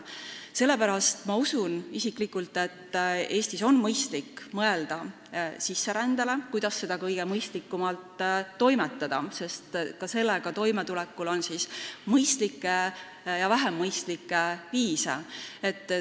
Sellepärast usun ma isiklikult, et Eestis on mõistlik mõelda sisserändele, sellele, kuidas seda kõige mõistlikumalt toimetada, sest ka sellega toimetulekul on mõistlikke ja vähem mõistlikke viise.